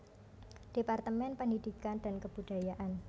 Departemen Pendidikan dan Kebudayaan